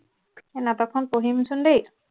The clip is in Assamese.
সেই নাটকখন পঢ়িমচোন দেই